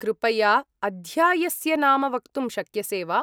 कृपया, अध्यायस्य नाम वक्तुं शक्यसे वा?